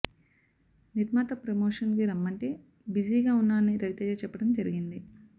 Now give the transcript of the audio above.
నిర్మాత ప్రమోషన్ కి రమ్మంటే బిజీగా వున్నానని రవితేజ చెప్పడం జరిగింది